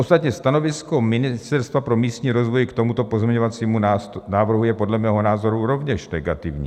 Ostatně stanovisko Ministerstva pro místní rozvoj k tomuto pozměňovacímu návrhu je podle mého názoru rovněž negativní.